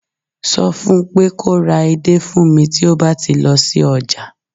so fún pé kò ra edé fún mi ti o ba ti lọ sí ọjà